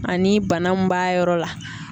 Ani bana mun b'a yɔrɔ la.